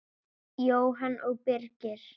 Jóhanna og Birgir.